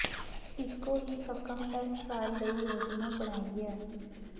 ਇੱਕੋ ਹੀ ਰਕਮ ਇਸ ਸਾਲ ਲਈ ਯੋਜਨਾ ਬਣਾਈ ਹੈ